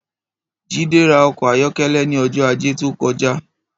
Jide rà ọkọ àyọkẹlẹ̀ ni ọjọ àjé tókọ̀já